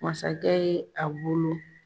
Masakɛ ye a bolo